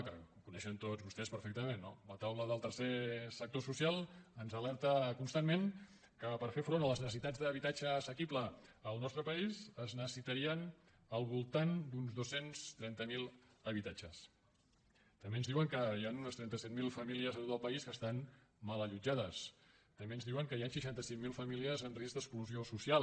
que ho coneixen tots vostès perfectament la taula del tercer sector social ens alerta constantment que per fer front a les necessitats d’habitatge assequible al nostre país es necessitarien al voltant d’uns dos cents i trenta miler habitatges també ens diuen que hi han unes trenta set mil famílies a tot el país que estan mal allotjades també ens diuen que hi han seixanta cinc mil famílies en risc d’exclusió social